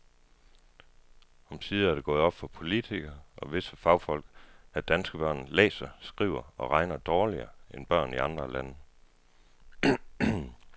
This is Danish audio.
Omsider er det gået op for politikere og visse fagfolk, at danske børn læser, skriver og regner dårligere end børn i andre lande.